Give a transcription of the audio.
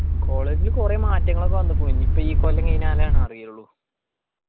college ല് കൊറേ മാറ്റങ്ങളൊക്കെ വന്നക്കുന്നു ഇനി ഇപ്പൊ ഈ കൊല്ലം കയിഞ്ഞാലാണ് അറിയുള്ളു.